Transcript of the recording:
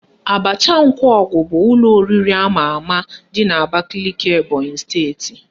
Abacha Nkwọgụ bụ ụlọ oriri ama ama dị n'Abakaliki Ebonyị steeti